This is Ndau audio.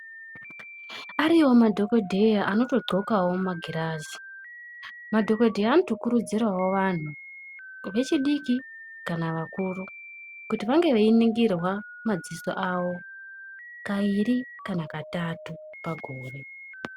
Ariyowo madhokodheya anotodzxokawo magirazi. Madhokodheya anokuridzirawo vantu vechidiki kana vakuru kuti vange veiningirwa madziso avo kairi kana katatu pagore.